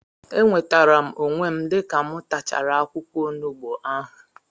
Enwetere m onwe m dịka mụ tachara akwụkwọ onugbu ahụ